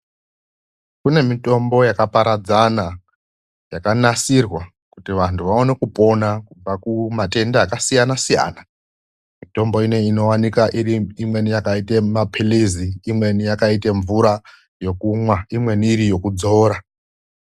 Kunemitombo yakaparadzana yakanasirwa kuti vantu vaone kupona kubva kumatenda akasiyana-siyana, mitombo iyi inowanikwa imweni yakaita mapirizi imweni yakaita mvura yokumwa imweni iri yekudzora.